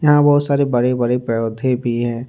यहां बहुत सारे बड़े बड़े पौधे भी हैं।